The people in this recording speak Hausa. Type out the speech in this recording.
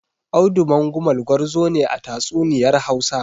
Audu Mangumal gwarzo ne a tatsuniyar Hausa.